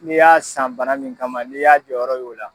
N'i y'a san bana min kama n'i y'a jɔyɔrɔ y'o la.